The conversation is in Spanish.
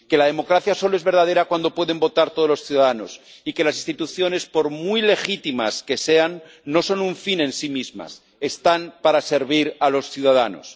que la democracia solo es verdadera cuando pueden votar todos los ciudadanos y que las instituciones, por muy legítimas que sean, no son un fin en sí mismas están para servir a los ciudadanos.